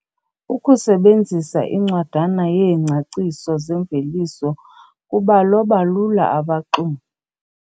Ukusebenzisa incwadana yeengcaciso zeemveliso kubaloba lula abaxumi.